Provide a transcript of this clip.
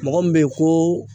Mɔgɔ min be ye ko